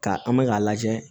Ka an bɛ k'a lajɛ